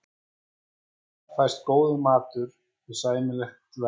Þar fæst góður matur við sæmilegu verði.